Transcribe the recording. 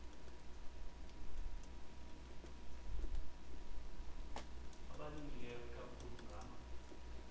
abalimileyo ikakhulu ngama